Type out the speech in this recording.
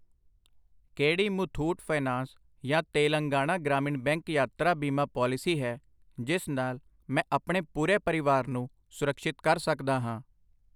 ਕਿਹੜੀ ਮੁਥੂਟ ਫਾਈਨੈਂਸ ਯਾ ਤੇਲੰਗਾਨਾ ਗ੍ਰਾਮੀਣ ਬੈਂਕ ਯਾਤਰਾ ਬੀਮਾ ਪਾਲਿਸੀ ਹੈ ਜਿਸ ਨਾਲ ਮੈਂ ਆਪਣੇ ਪੂਰੇ ਪਰਿਵਾਰ ਨੂੰ ਸੁਰਕਸ਼ਿਤ ਕਰ ਸਕਦਾ ਹਾਂ?